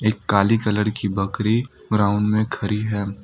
एक काले कलर की बकरी ग्राउंड में खड़ी है।